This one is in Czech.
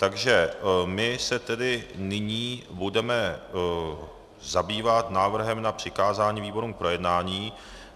Takže my se tedy nyní budeme zabývat návrhem na přikázání výborům k projednání.